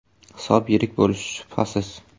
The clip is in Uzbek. Hisob yirik bo‘lishi shubhasiz.